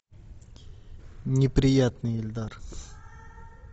неприятный ильдар